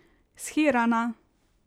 Shirana.